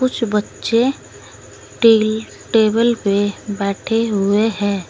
कुछ बच्चे टेल टेबल पे बैठे हुए हैं।